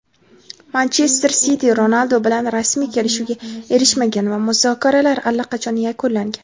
"Manchester Siti" Ronaldu bilan rasmiy kelishuvga erishmagan va muzokaralar allaqachon yakunlangan.